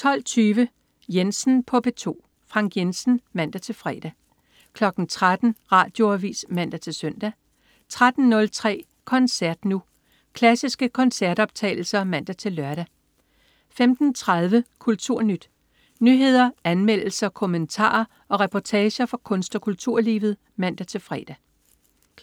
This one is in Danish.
12.20 Jensen på P2. Frank Jensen (man-fre) 13.00 Radioavis (man-søn) 13.03 Koncert Nu. Klassiske koncertoptagelser (man-lør) 15.30 KulturNyt. Nyheder, anmeldelser, kommentarer og reportager fra kunst- og kulturlivet (man-fre)